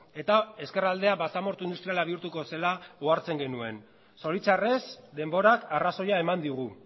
eta ezkerraldea basamortu industriala bihurtuko zela ohartzen genuen zoritxarrez denborak arrazoia eman digu